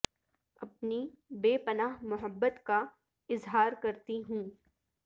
اپنی بے پناہ محبت کا اظہار کرتی ہوں